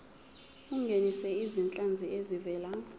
ungenise izinhlanzi ezivela